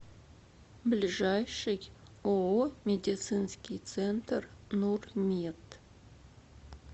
ближайший ооо медицинский центр нурмед